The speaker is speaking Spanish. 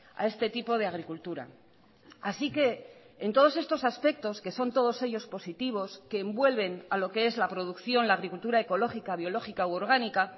a este tipo de agricultura así que en todos estos aspectos que son todos ellos positivos que envuelven a lo que es la producción la agricultura ecológica biológica u orgánica